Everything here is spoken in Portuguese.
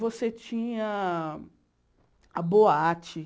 Você tinha a boate.